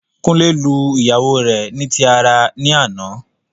Kunle lu ìyàwó rẹ ni tí ara ní àná